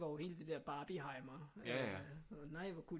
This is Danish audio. Var jo hele det der Barbieheimer øh og nej hvor kunne